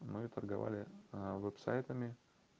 мы торговали а вот сайтами